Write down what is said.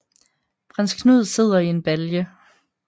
Prins Knud sidder i en balje